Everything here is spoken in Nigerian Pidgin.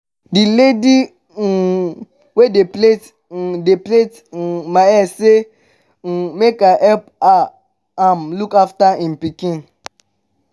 the lady um wey dey plait um dey plait um my hair say um make i help am look after im pikin